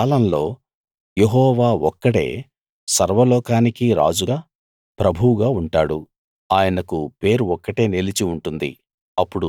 ఆ కాలంలో యెహోవా ఒక్కడే సర్వలోకానికీ రాజుగా ప్రభువుగా ఉంటాడు ఆయనకు పేరు ఒక్కటే నిలిచి ఉంటుంది